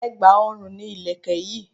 Ẹ̀gbà ọrùn ni Ìlẹ̀kẹ̀ yi